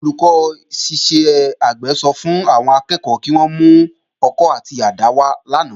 Olùkọ́ iṣẹ́ àgbẹ̀ sọ fún àwọn akẹ́kọ̀ọ́ kí wón mú ọkọ́ àti àdá wá lánàá